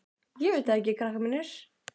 Ég veit það ekki, krakkar mínir.